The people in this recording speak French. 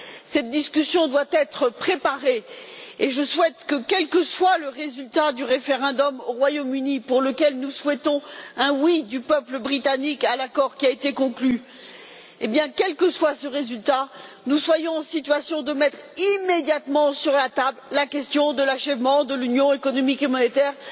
Cette discussion doit être préparée, et je souhaite que, quel que soit le résultat du référendum au Royaume Uni, pour lequel nous souhaitons un oui du peuple britannique à l'accord qui a été conclu, nous soyons en situation de mettre immédiatement sur la table la question de l'achèvement de l'Union économique et monétaire.